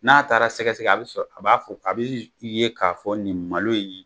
N'a taara sɛgɛ sɛgɛ a be sɔrɔ a b'a fɔ a bi ye k'a fɔ nin malo ye